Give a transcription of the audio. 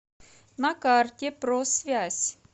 на карте просвязь